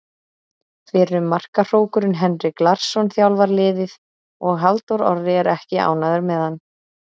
Fyrrum markahrókurinn Henrik Larsson þjálfar liðið og Halldór Orri er ekki ánægður með hann.